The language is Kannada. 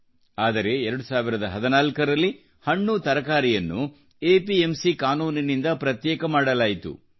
ಆದರೆ 2014ರಲ್ಲಿ ಹಣ್ಣುತರಕಾರಿಯನ್ನು ಎಪಿಎಂಸಿ ಕಾನೂನಿನಿಂದ ಪ್ರತ್ಯೇಕ ಮಾಡಲಾಯಿತು